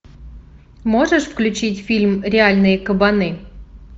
можешь включить фильм реальные кабаны